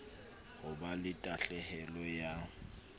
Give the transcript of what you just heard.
ho ba la tahlehelo ya